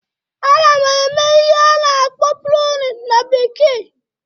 Ana m eme ihe a na-akpọ "pruning"na bekee